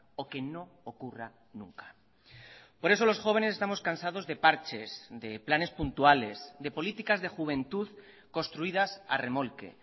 o que no ocurra nunca por eso los jóvenes estamos cansados de parches de planes puntuales de políticas de juventud construidas a remolque